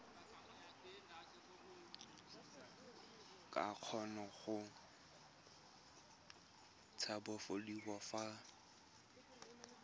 ka kgona go tshabafadiwa fa